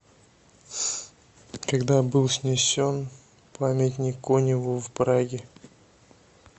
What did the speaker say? когда был снесен памятник коневу в праге